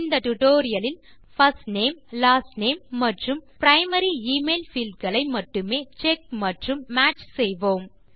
இந்த டியூட்டோரியல் இல் first name last name மற்றும் பிரைமரி எமெயில் பீல்ட் களை மட்டுமே செக் மற்றும் மேட்ச் செய்வோம்